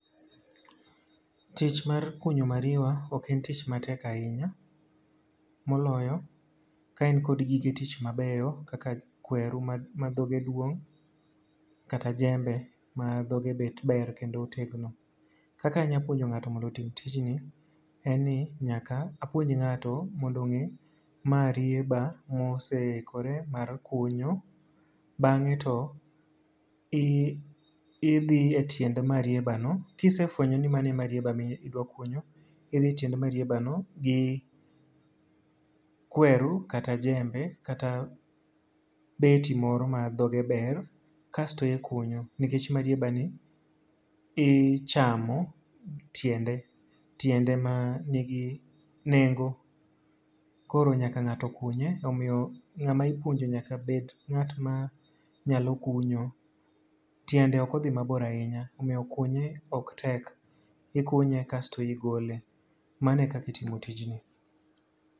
Tich mar kunyo mariwa ok en tich matek ahinya. Moloyo ka in kod gige tich mabeyo kaka kweru ma ma dhoge duong', kata jembe ma dhoge bet ber kendo otegno. Kaka anya puonjo ngáto mondo otim tijni, en ni nyaka apuonj ngáto mondo ongé, marieba moseikore mar kunyo. Bangé to i idhiye e tiend marieba no, ka isefwenyo ni mano e marieba ma idwa kunyo, idhi e tiend marieba no, gi kweru, kata jembe, kata beti moro ma dhoge ber, kasto ikunyo. Nikech marieba ni ichamo tiende, tiende ma nigi nengo. Koro nyaka ngáto kunye, omiyo ngáma ipuonjo nyaka bed ngát ma nyalo kunyo. Tiendo ok odhi mabor ahinya, omiyo kunye ok tek. Ikunye kasto igole. Mano e kaka itimo tijni.